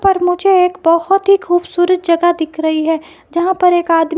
पर मुझे एक बहुत ही खूबसूरत जगह दिख रही है जहां पर एक आदमी--